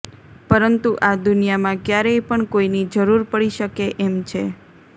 પરંતુ આ દુનિયામાં ક્યારેય પણ કોઈની જરૂર પડી શકે એમ છે